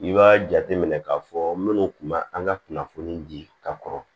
I b'a jateminɛ k'a fɔ minnu kun ma an ka kunnafoni di ka kɔrɔ